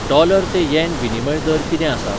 Dollar ते yen विनिमय दर कितें आसा?